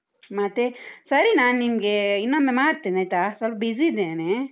ಮತ್ತೆ? ಸರಿ ನಾನಿಮ್ಗೆ ಇನ್ನೊಮ್ಮೆ ಮಾಡ್ತೇನಾಯ್ತಾ? ಸ್ವಲ್ಪ busy ಇದ್ದೇನೆ.